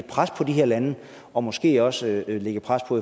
pres på de her lande og måske også lægge pres på